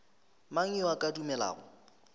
mang yo a ka dumelago